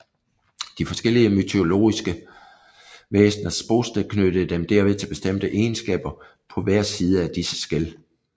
De forskellige mytologiske væsners bosted knyttede dem derved til bestemte egenskaber på hver side af disse skel